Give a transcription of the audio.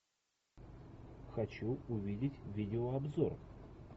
хочу увидеть видеообзор